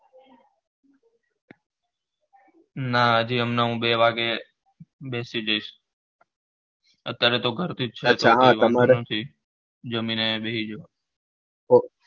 ના હજી હમણાં બે વાગે બેસી જઈશ અત્યારે તો ઘર થી જ છે છુ જમીને બેહી જાવ